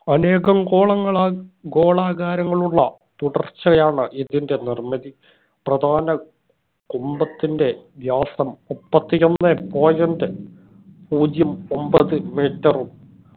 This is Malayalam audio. അനേകം ഗോളങ്ങളാൽ ഗോളാകാരങ്ങൾ ഉള്ള തുടർച്ചയാണ് ഇതിന്റെ നിർമ്മിതി പ്രധാന കുംഭത്തിന്റെ വ്യാസം മുപ്പതിയൊന്നെ point പൂജ്യം ഒമ്പത് metre ഉം